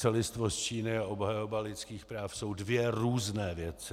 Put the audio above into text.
Celistvost Číny a obhajoba lidských práv jsou dvě různé věci.